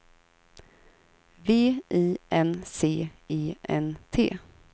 V I N C E N T